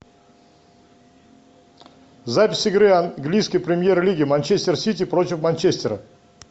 запись игры английской премьер лиги манчестер сити против манчестера